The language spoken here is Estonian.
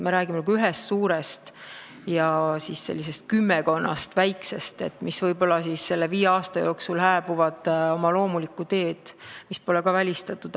Me räägime ühest suurest ja kümmekonnast väiksest farmist, mis võib-olla viie aasta jooksul hääbuvad loomulikul teel, see pole ka välistatud.